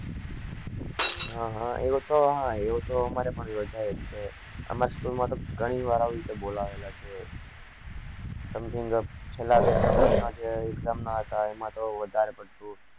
હ હ એવો તો અમારે ભી યોજયેલો છે અમાર્ school માં તો ઘણી વાર આવી રીતે બોલાયેલા છે something છેલા બે ત્રણ મહિના જે exam ના હતા એમાં તો વધારે પડતું